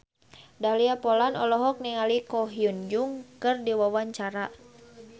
Dahlia Poland olohok ningali Ko Hyun Jung keur diwawancara